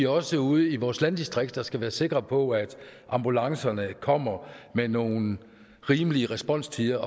også ude i vores landdistrikter skal vi være sikre på at ambulancerne kommer med nogle rimelige responstider